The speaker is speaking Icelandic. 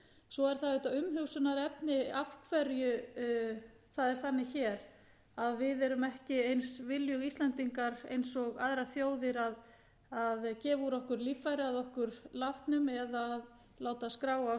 svo er það auðvitað umhugsunarefni af hverju það er þannig hér að við erum ekki eins viljug íslendingar og aðrar þjóðir að gefa úr okkur líffæri að okkur látnum eða að láta skrá á